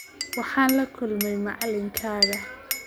Waxaan la kulmay macalinkaaga